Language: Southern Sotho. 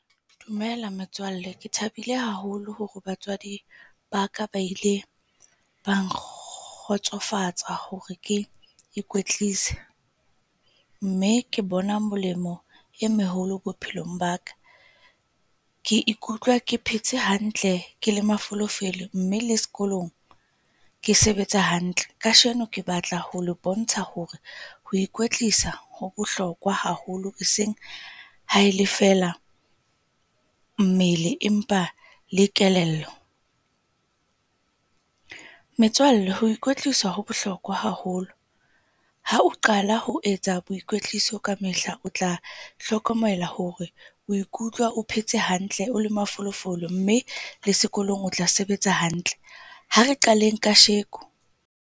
Dumela metswalle. Ke thabile haholo hore batswadi ba ka ba ile ba nkgotsofatsa hore ke ikwetlise, mme ke bona molemo e meholo bophelong ba ka. Ke ikutlwa ke phetse hantle ke le mafolofelo mme le sekolong ke sebetsa hantle. Kasheno ke batla ho le bontsha hore ho kwetlisa ho bohlokwa haholo, e seng ha el e feela mmele empa le kelello. Metswalle ho ikwetlisa ho bohlokwa haholo hao qala ho etsa boikwetliso kamehla, o tla hlokomela hore o ikutlwa o phetse hantle, o le mafolofolo mme le sekolong o tla sebetsa hantle. Ha re qaleng kasheko.